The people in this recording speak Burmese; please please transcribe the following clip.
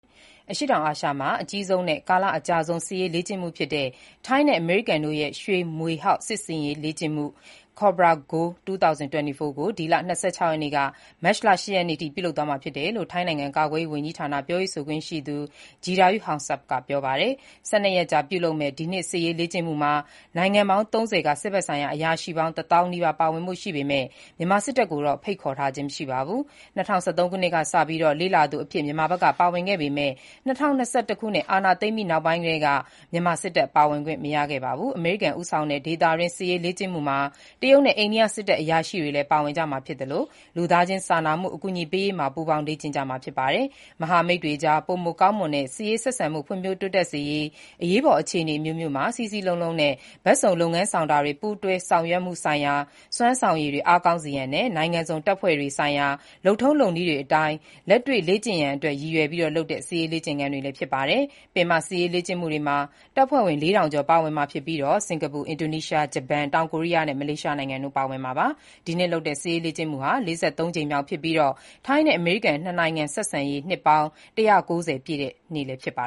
အရှေ့တောင်အာရှမှာ အကြီးဆုံးနဲ့ ကာလအကြာဆုံး စစ်ရေးလေ့ကျင့်မှုဖြစ်တဲ့ ထိုင်းနဲ့ အမေရိကန်တို့ရဲ့ "ရွှေမြွေဟောက် စစ်ရေးလေ့ကျင့်မှု" Cobra Gold 2024 ကို ဒီလ ၂၆ ရက်နေ့ကနေ မတ်လ ၈ ရက်နေ့အထိ ပြုလုပ်သွားမယ်လို့ ထိုင်းနိုင်ငံ ကာကွယ်ရေး ဝန်ကြီးဌာန ပြောရေးဆိုခွင့်ရှိသူ Jirayu Houngsub က ပြောပါတယ်။ ၁၂ ရက်ကြာလုပ်မဲ့ ဒီနှစ်စစ်ရေးလေ့ကျင့်မှုမှာ နိုင်ငံပေါင်း ၃၀ က စစ်ဘက်ဆိုင်ရာ အရာရှိပေါင်း ၁၀,၀၀၀ နီးပါး ပါ၀င်ဖို့ရှိပေမဲ့ မြန်မာစစ်တပ်ကိုတော့ ဖိတ်ခေါ်ထားခြင်းမရှိပါဘူး။ ၂၀၁၃ ခုနှစ်ကစပြီး လေ့လာသူအဖြစ် မြန်မာက ပါ၀င်ခဲ့ပေမဲ့ ၂၀၂၁ ခုနှစ် အာဏာသိမ်းပြီးနောက်ပိုင်းကတည်းက မြန်မာစစ်တပ် ပါ၀င်ခွင့်မရခဲ့ပါဘူး။ အမေရိကန်တပ်တွေ အင်အားအပြည့် ပါ၀င်တဲ့ ရွှေမြွေဟောက် စစ်ရေးလေ့ကျင့်မှုမှာ ဒီနှစ်အတွက် တရုတ်နဲ့ အိန္ဒိယ စစ်တပ်တွေလည်း ပါ၀င်ကြမှာဖြစ်သလို လူသားချင်းစာနာမှု အကူအညီပေးရေးမှာ ပူးပေါင်း လေ့ကျင့်ကြမှာဖြစ်ပါတယ်။ မဟာမိတ်တွေအကြား ပိုမိုကောင်းမွန်တဲ့ စစ်ရေးဆက်ဆံမှု ဖွံ့ဖြိုးတိုးတက်စေရန်၊ အရေးပေါ်အခြေအနေ အမျိုးမျိုးမှာ စည်းစည်းလုံးလုံးနဲ့ ဘက်စုံလုပ်ငန်း ဆောင်တာတွေ၊ ပူးတွဲလုပ်ဆောင်မှုဆိုင်ရာ စွမ်းဆောင်ရည်တွေ အားကောင်းစေရန်နဲ့ နိုင်ငံစုံတပ်ဖွဲ့များဆိုင်ရာ လုပ်ထုံးလုပ်နည်းတွေ အတိုင်း လက်တွေ့လေ့ကျင့်ရန်အတွက် ရည်ရွယ်ပြီး လုပ်တဲ့ စစ်ရေး လေ့ကျင့်ခန်းလည်းဖြစ်ပါတယ်။ စစ်အင်အားအပြည့်အ၀ ပါ၀င်မဲ့ ပင်မစစ်ရေးလေ့ကျင့်မှုတွေမှာ စင်ကာပူ၊ အင်ဒိုနီးရှား၊ ဂျပန်၊ တောင်ကိုရီးယားနဲ့ မလေးရှားနိုင်ငံတွေက တပ်ဖွဲ့ဝင် ၄ ထောင် ကျော် ပါဝင်မှာဖြစ်ပါတယ်။ ဒီနှစ်လုပ်တဲ့ စစ်ရေးလေ့ကျင့်မှုဟာ ၄၃ ကြိမ်မြောက်ဖြစ်ပြီး ထိုင်းနဲ့ အမေရိကန်တို့ရဲ့ နှစ်နိုင်ငံဆက်ဆံရေး နှစ် ၁၉၀ ပြည့်လည်းဖြစ်ပါ